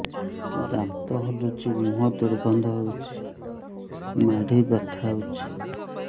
ଦାନ୍ତ ହଲୁଛି ମୁହଁ ଦୁର୍ଗନ୍ଧ ହଉଚି ମାଢି ବଥା ହଉଚି